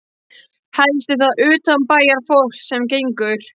Helst er það utanbæjarfólk sem gengur.